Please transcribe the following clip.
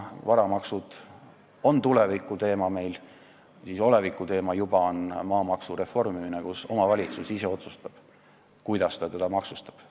Varamaksud on meil tulevikuteema, olevikuteema on maamaksu reformimine, kus omavalitsus ise otsustab, kuidas ta maksustab.